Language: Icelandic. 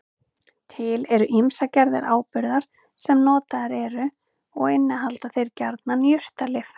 Til eru ýmsar gerðir áburða sem notaðir eru og innihalda þeir gjarnan jurtalyf.